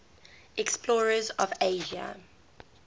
explorers of asia